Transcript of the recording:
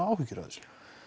áhyggjur af þessu